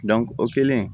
o kɛlen